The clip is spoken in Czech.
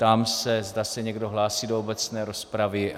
Ptám se, zda se někdo hlásí do obecné rozpravy.